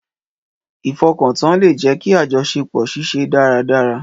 Ìfọkàntàn lè jẹ́ kí àjọṣepọ̀ ṣiṣẹ́ dáradára